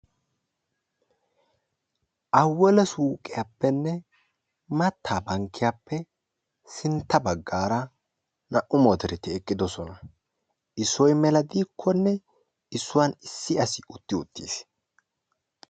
awalla suuqiyappene mattaa bankiyappe sintta bagarra naa"u motoreti eqidossona issoy mela dikkone issuwa bollani assi uttissi.